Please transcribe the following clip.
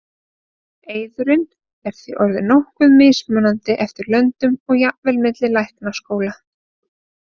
Eiðurinn er því orðinn nokkuð mismunandi eftir löndum og jafnvel milli læknaskóla.